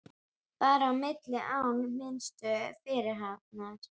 Bar á milli án minnstu fyrirhafnar.